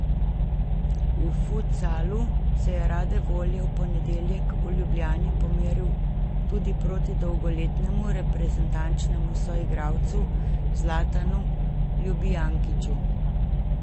V futsalu se je rade volje v ponedeljek v Ljubljani pomeril tudi proti dolgoletnemu reprezentančnemu soigralcu Zlatanu Ljubijankiću.